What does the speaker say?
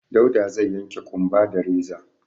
Dauda zai yanke ƙumba da reza.